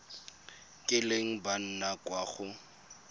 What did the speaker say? kileng ba nna kwa go